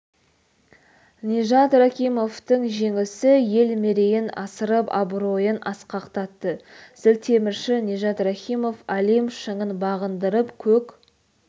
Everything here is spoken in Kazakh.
нижат рахимовтың жеңісі ел мерейін асырып абыройын асқақтатты зілтемірші нижат рахимов олимп шыңын бағындырып көк